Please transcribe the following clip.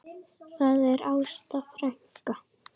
Það er Ásta frænka.